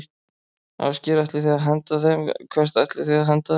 Ásgeir: Ætlið þið að henda þeim, hvert ætlið þið að henda þeim?